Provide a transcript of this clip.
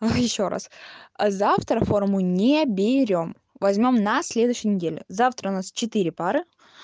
а ещё раз завтра форму не берём возьмём на следующей неделе завтра у нас четыре пары